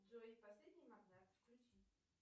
джой последний магнат включи